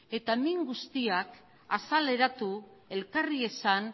eta min guztiak azaleratu elkarri esan